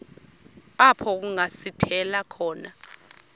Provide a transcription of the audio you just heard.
apho kungasithela khona